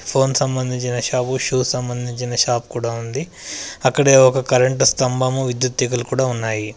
Phone సంబంధించిన shop shoes సంబంధించిన shop కూడా ఉంది అక్కడే ఒక కరెంటు స్తంభము విద్యుత్ తీగలు కూడా ఉన్నాయి.